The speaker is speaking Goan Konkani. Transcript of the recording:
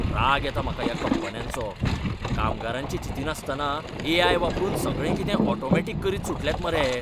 राग येता म्हाका ह्या कंपन्यांचो. कामगारांचें चिंतिनासतना ए.आय. वापरून सगळें कितें ऑटोमॅटिक करीत सुटल्यात मरे हे.